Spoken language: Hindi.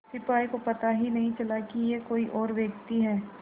सिपाही को पता ही नहीं चला कि यह कोई और व्यक्ति है